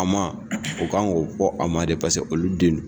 A ma o kan k'o fɔ a ma de paseke olu den don!